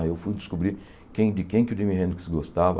Aí eu fui descobrir quem de quem o Jimi Hendrix gostava.